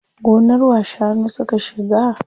Gonar wa shanu suka shiga?